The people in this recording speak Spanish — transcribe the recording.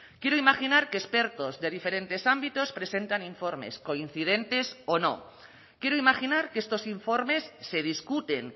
quiero imaginar que expertos de diferentes ámbitos presentan informes coincidentes o no quiero imaginar que estos informes se discuten